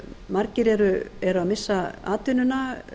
margir eru að missa atvinnuna